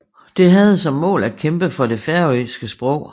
Det havde som mål at kæmpe for det færøske sprog